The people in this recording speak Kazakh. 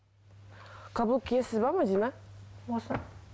каблук киесіз бе мәдина осы